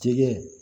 Jɛgɛ